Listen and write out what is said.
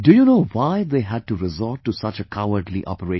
Do you know why they had to resort to such a cowardly operation